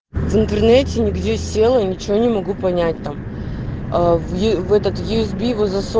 в интернете нигде села ничего не могу понять там в этот юсб засов